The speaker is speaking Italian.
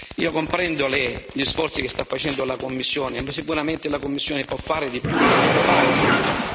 Io comprendo gli sforzi che sta facendo la Commissione, ma sicuramente la Commissione può fare di più e deve fare di più.